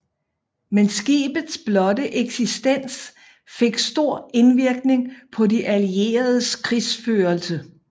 Men skibets blotte eksistens fik stor indvirkning på de allieredes krigsførelse